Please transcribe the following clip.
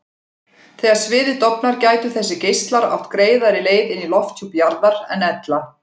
Þegar sviðið dofnar gætu þessir geislar átt greiðari leið inn í lofthjúp jarðar en ella.